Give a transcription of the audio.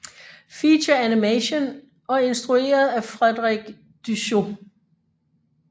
Feature Animation og instrueret af Frederik Du Chau